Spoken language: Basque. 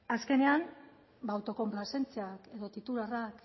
azkenean autokonplazentzia edo titularrak